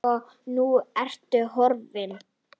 Og nú ertu horfin.